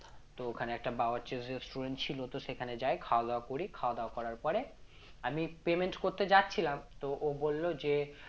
তো ওখানে একটা বাবার চিড় restaurant ছিল তো সেখানে যায় খাওয়া দাওয়া করি খাওয়া দাওয়া করার পরে আমি payment করতে যাচ্ছিলাম তো ও বলল যে আহ